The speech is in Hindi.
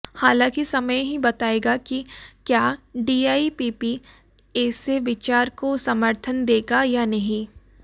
हालांकि समय ही बताएगा कि क्या डीआईपीपी ऐसे विचार को समर्थन देगा या नहीं